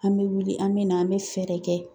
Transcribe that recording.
An bɛ wuli an bɛ na an bɛ fɛɛrɛ kɛ